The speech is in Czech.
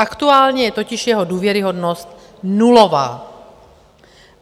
Aktuálně je totiž jeho důvěryhodnost nulová.